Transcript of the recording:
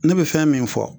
Ne bɛ fɛn min fɔ